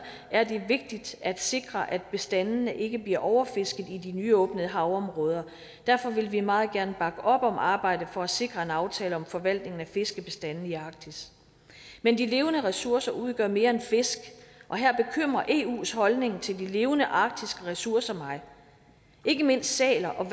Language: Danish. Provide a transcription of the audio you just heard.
er det vigtigt at sikre at bestandene ikke bliver overfisket i de nyåbnede havområder derfor vil vi meget gerne bakke op om arbejdet for at sikre en aftale om forvaltningen af fiskebestandene i arktis men de levende ressourcer udgør mere end fisk og her bekymrer eus holdning til de levende arktiske ressourcer mig ikke mindst sæler og